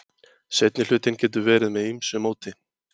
Seinni hlutinn getur verið með ýmsu móti.